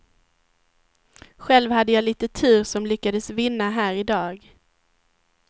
Själv hade jag lite tur som lyckades vinna här i dag.